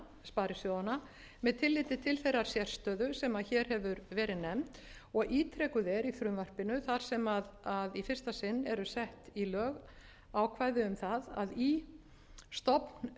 sparisjóðanna með tilliti til þeirrar sérstöðu sem hér hefur verið nefnd og ítrekuð er í frumvarpinu þar sem í fyrsta sinn eru sett í lög ákvæði um það að í stofnskrám sparisjóða